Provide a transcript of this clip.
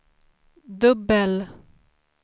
dubbel